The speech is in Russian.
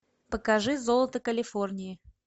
покажи золото калифорнии